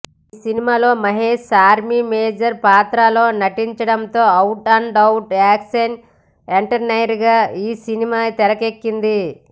ఈ సినిమాలో Mahesh army major పాత్రలో నటించడంతో ఔట్ అండ్ ఔట్ యాక్షన్ ఎంటర్టైనర్గా ఈ సినిమా తెరకెక్కింది